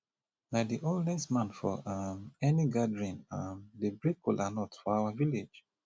na the oldest man for um any gathering um dey break kola nut for our village